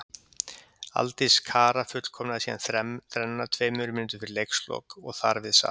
Aldís Kara fullkomnaði síðan þrennuna tveimur mínútum fyrir leikslok og þar við sat.